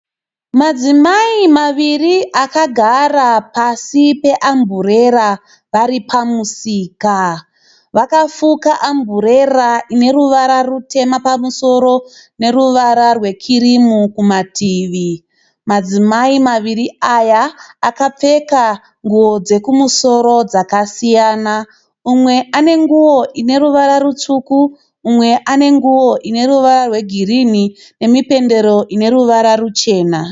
Madzimai maviri akagara pasi pe amburera vari pamusika. Vakafuka amburera ineruvara rutema pamusoro neruvara rwe kirimu kumativi. Madzimai maviri aya akapfeka nguwo dzekumusoro dzakasiyana. Umwe ane nguwo ine ruvara rutsvuku mumwe ane nguwo ine ruvara rwe girinhi. Nemipendero ine ruvara ruchena.